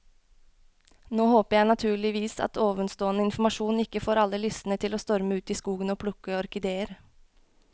Nå håper jeg naturligvis at ovenstående informasjon ikke får alle lystne til å storme ut i skogen og plukke orkideer.